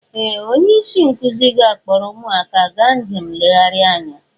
Ee! Onye isi nkụzi ga-akpọrọ ụmụ akwụkwọ gaa njem nlegharị anya.